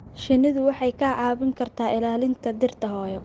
Shinnidu waxay kaa caawin kartaa ilaalinta dhirta hooyo.